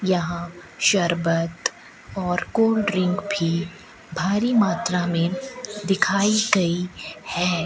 यहां शरबत और कोल्ड ड्रिंक भी भारी मात्रा में दिखाई गई है।